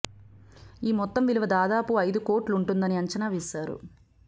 ఈ మొత్తం విలువ దాదాపు అయిదు కోట్లుంటుందని అంచనా వేశారు